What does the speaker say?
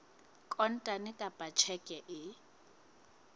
kontane kapa ka tjheke e